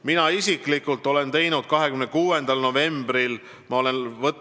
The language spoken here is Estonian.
Mina isiklikult andsin 26. novembril oma esialgse arvamuse.